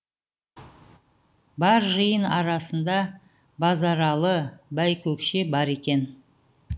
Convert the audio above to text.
бар жиын арасында базаралы байкөкше бар екен